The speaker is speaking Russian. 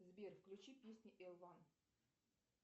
сбер включи песни эл уан